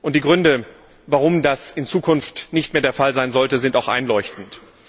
Die Gründe, warum das in Zukunft nicht mehr der Fall sein sollte, sind auch einleuchtend.